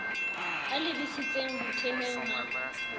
a lebisitseng ho thehweng ha